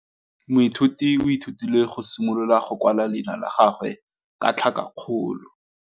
Moithuti o ithutile go simolola go kwala leina la gagwe ka tlhakakgolo.